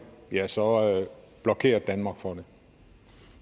ja så blokerede danmark for det